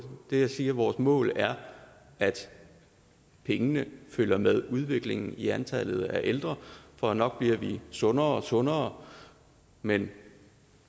det jeg siger er at vores mål er at pengene følger med udviklingen i antallet af ældre for nok bliver vi sundere og sundere men